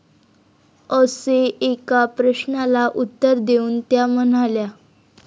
असे एका प्रश्नाला उत्तर देऊन त्या म्हणाल्या.